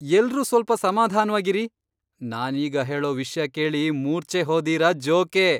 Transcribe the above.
ಎಲ್ರೂ ಸ್ವಲ್ಪ ಸಮಾಧಾನ್ವಾಗಿರಿ! ನಾನೀಗ ಹೇಳೋ ವಿಷ್ಯ ಕೇಳಿ ಮೂರ್ಛೆ ಹೋದೀರ ಜೋಕೆ!